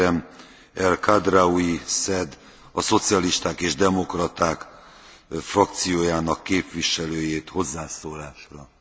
Voorzitter, commissaris, collega's, toen we in 2007 akkoord zijn gegaan met de eerste fase van het luchtvaartakkoord, was dat om twee belangrijke redenen.